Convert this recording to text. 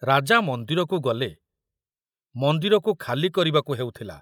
ରାଜା ମନ୍ଦିରକୁ ଗଲେ ମନ୍ଦିରକୁ ଖାଲି କରିବାକୁ ହେଉଥିଲା।